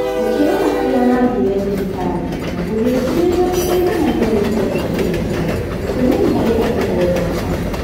Ũkĩrora arĩa mathire thibitarĩ, na gũgĩcirĩrio atĩ ũiganania wa ihinda ndwatũmĩkire, ũtũmĩri harĩ andũ o mwaka